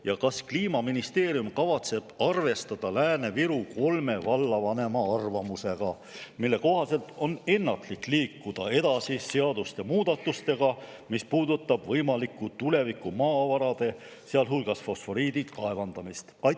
Ja kas Kliimaministeerium kavatseb arvestada kolme Lääne-Viru vallavanema arvamusega, mille kohaselt on ennatlik liikuda edasi seaduste muudatustega, mis puudutavad võimalikku tulevikumaavarade, sealhulgas fosforiidi kaevandamist?